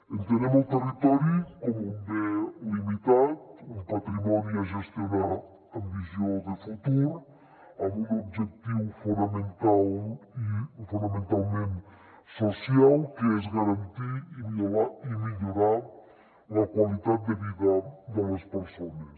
entenem el territori com un bé limitat un patrimoni a gestionar amb visió de futur amb un objectiu fonamental i fonamentalment social que és garantir i millorar la qualitat de vida de les persones